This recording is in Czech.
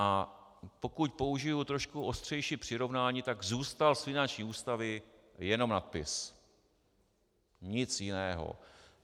A pokud použiji trošku ostřejší přirovnání, tak zůstal z finanční ústavy jenom nadpis, nic jiného.